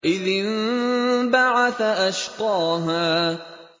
إِذِ انبَعَثَ أَشْقَاهَا